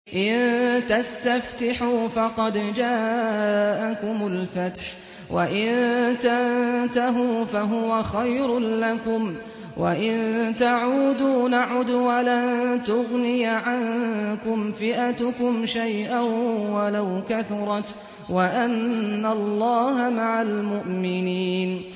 إِن تَسْتَفْتِحُوا فَقَدْ جَاءَكُمُ الْفَتْحُ ۖ وَإِن تَنتَهُوا فَهُوَ خَيْرٌ لَّكُمْ ۖ وَإِن تَعُودُوا نَعُدْ وَلَن تُغْنِيَ عَنكُمْ فِئَتُكُمْ شَيْئًا وَلَوْ كَثُرَتْ وَأَنَّ اللَّهَ مَعَ الْمُؤْمِنِينَ